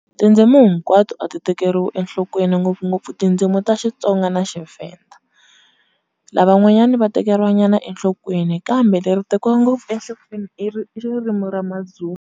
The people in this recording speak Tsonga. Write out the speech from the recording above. Tindzimu hinkwato a ti tekeriwi enhlokweni ngopfungopfu tindzimi ta Xitsonga na xiVenda, lavan'wanyani va tekeriwa nyana enhlokweni kambe leri tekiwa ngopfu enhlokweni i i ririmi ra maZulu.